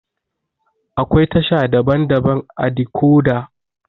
Akwai tasha daban-daban ã decoda.